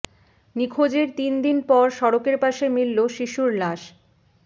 নিখোঁজের তিন দিন পর সড়কের পাশে মিলল শিশুর লাশ